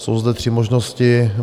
Jsou zde tři možnosti.